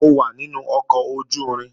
Mo wà nínú ọkọ̀ ojú-irin